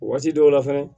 Waati dɔw la fɛnɛ